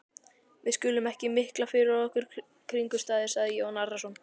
Við skulum ekki mikla fyrir okkur kringumstæður, sagði Jón Arason.